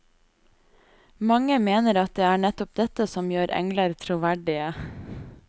Mange mener at det er nettopp dette som gjør engler troverdige.